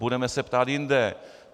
Budeme se ptát jinde.